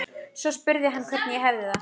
Svo spurði hann hvernig ég hefði það.